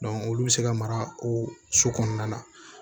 olu bɛ se ka mara o su kɔnɔna na